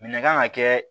Minɛn kan ka kɛ